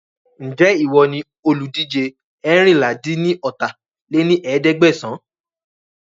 Ń jẹ́ ìwọ ni olùdíje eérinlá-dín-ní-ọ́ta lé ní ẹ̀ẹ́dẹ́gbẹ́sán